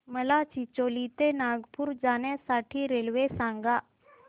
मला चिचोली ते नागपूर जाण्या साठी रेल्वे सांगा